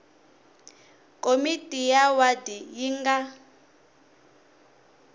komiti ya wadi yi nga